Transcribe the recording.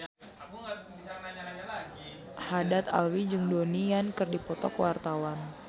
Haddad Alwi jeung Donnie Yan keur dipoto ku wartawan